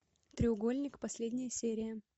треугольник последняя серия